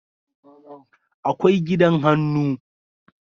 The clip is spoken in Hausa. akwai gidan hannu